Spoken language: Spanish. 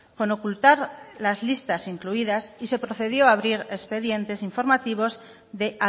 con ocultar las listas incluidas y se procedió abrir expedientes informativos de